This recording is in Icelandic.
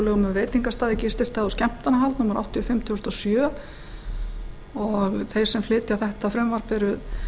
skemmtanahald númer áttatíu og fimm tvö þúsund og sjö og þeir sem flytja þetta frumvarp eru